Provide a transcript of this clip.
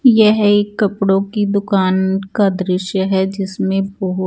ये है एक कपड़ो की दुकान का दिश्य है जिसमे बोहोत --